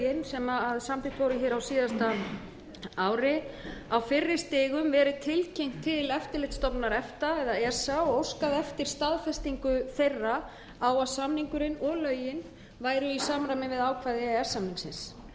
sem og lögin sem samþykkt voru hér á síðasta ári á fyrri stigum verið tilkynnt til eftirlitsstofnunar efta og óskað eftir staðfestingu þeirra á að samningurinn og lögin væru í samræmi við ákvæði e e s samningsins